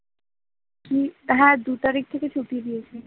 কি হ্যাঁ দু তারিখ থেকে ছুটি দিয়েছে